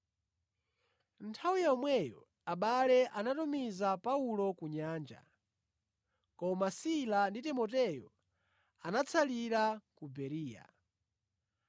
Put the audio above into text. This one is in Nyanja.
Nthawi yomweyo abale anatumiza Paulo ku nyanja koma Sila ndi Timoteyo anatsalira ku Bereya.